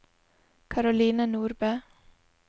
Caroline Nordbø